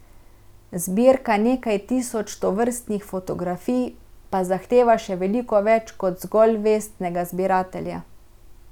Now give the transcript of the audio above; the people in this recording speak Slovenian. Zbirka nekaj tisoč tovrstnih fotografij pa zahteva še veliko več kot zgolj vestnega zbiratelja.